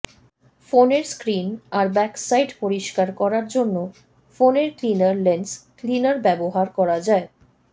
ফোনের স্ক্রিন আর back side পরিষ্কার করার জন্য ফোনের ক্লিনার লেন্স ক্লিনার ব্য়বহার করা যায়